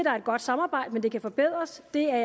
er et godt samarbejde men at det kan forbedres det er